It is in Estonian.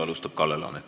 Alustab Kalle Laanet.